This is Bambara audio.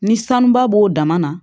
Ni sanuba b'o dama na